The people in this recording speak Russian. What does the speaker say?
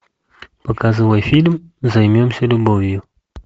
показывай фильм займемся любовью